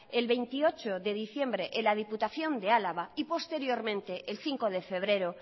el veintiocho de diciembre en la diputación de álava y posteriormente el cinco de febrero